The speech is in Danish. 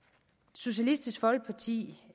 socialistisk folkeparti